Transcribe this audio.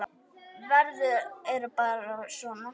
Veður er bara veður.